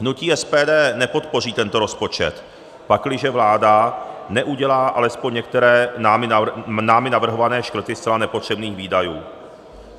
Hnutí SPD nepodpoří tento rozpočet, pakliže vláda neudělá alespoň některé námi navrhované škrty zcela nepotřebných výdajů.